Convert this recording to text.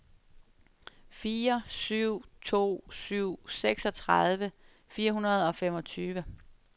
fire syv to syv seksogtredive fire hundrede og femogtyve